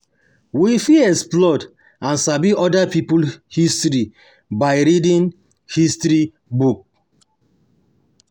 we fit explore and sabi oda pipo history by reading history book